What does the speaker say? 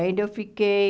Ainda eu fiquei...